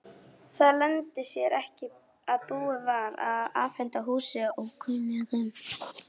Það leyndi sér ekki að búið var að afhenda húsið ókunnugum.